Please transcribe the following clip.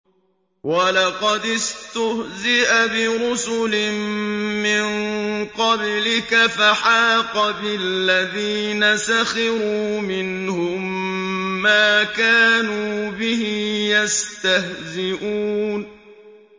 وَلَقَدِ اسْتُهْزِئَ بِرُسُلٍ مِّن قَبْلِكَ فَحَاقَ بِالَّذِينَ سَخِرُوا مِنْهُم مَّا كَانُوا بِهِ يَسْتَهْزِئُونَ